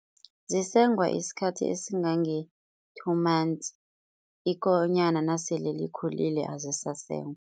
Zisengwa isikhathi esingange-two months, ikonyana nasele likhulile azisasengwa.